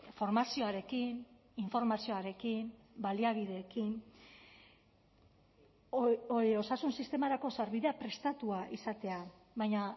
formazioarekin informazioarekin baliabideekin osasun sistemarako sarbidea prestatua izatea baina